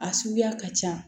A suguya ka ca